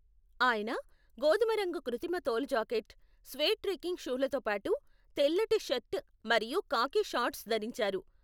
ఆయన గోధుమరంగు కృతిమ తోలు జాకెట్, స్వేడ్ ట్రెక్కింగ్ షూలతో పాటు, తెల్లటి షర్ట్ మరియు ఖాకీ షార్ట్స్ ధరించారు.